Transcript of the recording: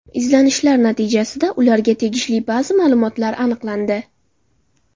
Izlanishlar natijasida ularga tegishli ba’zi ma’lumotlar aniqlandi.